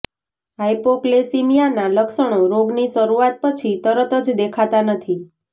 હાઈપોક્લેસીમિયાના લક્ષણો રોગની શરૂઆત પછી તરત જ દેખાતા નથી